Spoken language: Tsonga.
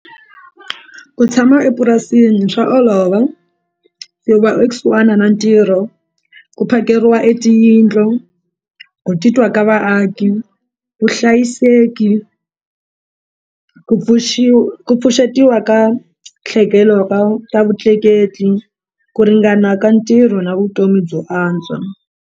Ku tshama epurasini swa olova i va ekusuhana na ntirho ku phakeriwa e tiyindlu ku titwa ka vaaki vuhlayiseki ku ku pfuxetiwa ka ka vutleketli ku ringana ka ntirho na vutomi byo antswa.